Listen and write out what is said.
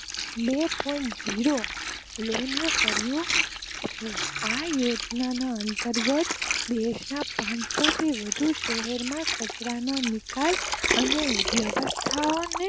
બે zero loan કરીયુ છે આ યોજના અતરગ્રતઃ દેશ માં પાંચસો થી વધુ શહેર માં કચરા નો નિકાલ અને વયવસ્થાઓને